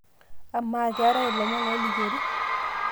amaa keetae ilomon oolikiori